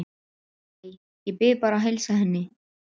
Æ, ég bið bara að heilsa henni